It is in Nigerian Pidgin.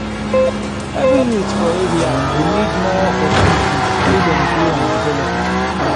every youth for area go need more opportunities make dem grow and develop.